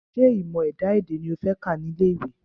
Ṣé ìmọ̀ ẹ̀dá-èdè ni o fẹ́ kà ní ilé ìwé?